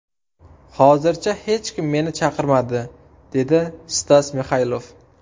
Hozircha hech kim meni chaqirmadi”, – dedi Stas Mixaylov.